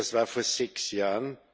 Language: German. das war vor sechs Jahren.